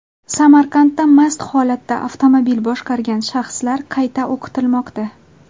Samarqandda mast holatda avtomobil boshqargan shaxslar qayta o‘qitilmoqda.